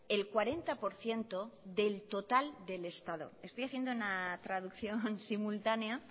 el cuarenta por ciento del total del estado estoy haciendo una traducción simultánea